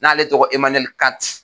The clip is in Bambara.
N'ale tɔgɔ Emanuwɛli Kanti.